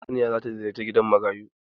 Sarauniya za ta ziyarci gidan marayu.